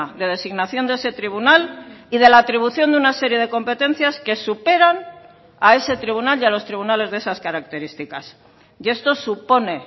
de designación de ese tribunal y de la atribución de una serie de competencias que superan a ese tribunal y a los tribunales de esas características y esto supone